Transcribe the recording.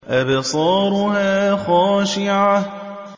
أَبْصَارُهَا خَاشِعَةٌ